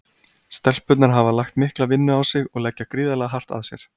Stelpurnar hafa lagt mikla vinnu á sig og leggja gríðarlega hart að sér.